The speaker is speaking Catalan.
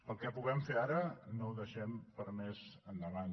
el que puguem fer ara no ho deixem per a més endavant